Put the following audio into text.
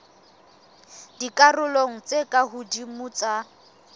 dikarolong tse ka hodimo tsa